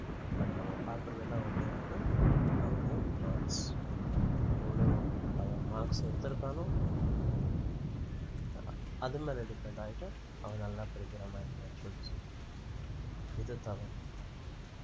but நம்ம பார்க்கிறது எல்லாம் ஒண்ணே ஒண்ணு அவருடைய marks எவ்வளவு அவன் marks எடுதிருக்கானோ அது மேல depend ஆயிட்டா அவன் நல்லா படிக்கிற மாதிரி இது தவறு